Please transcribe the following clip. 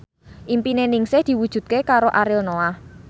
impine Ningsih diwujudke karo Ariel Noah